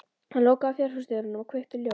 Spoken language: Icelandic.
Hann lokaði fjárhúsdyrunum og kveikti ljós.